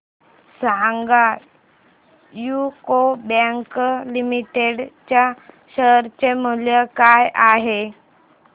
सांगा UCO bank limited च्या share चे मूल्य काय आहे